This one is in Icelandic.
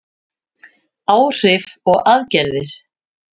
Áhrif og aðgerðir.